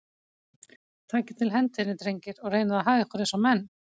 Takið til hendinni, drengir, og reynið að haga ykkur eins og menn.